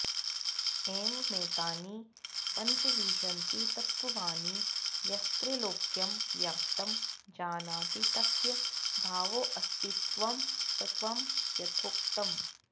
एवमेतानि पञ्चविंशतितत्त्वानि यस्त्रैलोक्यं व्याप्तं जानाति तस्य भावोऽस्तित्वं तत्त्वं यथोक्तम्